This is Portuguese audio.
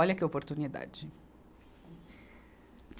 Olha que oportunidade.